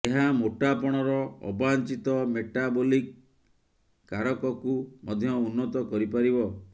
ଏହା ମୋଟାପଣର ଅବାଞ୍ଛିତ ମେଟାବୋଲିକ୍ କାରକକୁ ମଧ୍ୟ ଉନ୍ନତ କରିପାରିବ